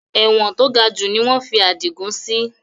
Ẹ̀wọ̀n to gajù ni wọn fi adigun sì